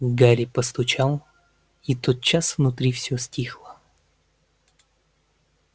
гарри постучал и тотчас внутри всё стихло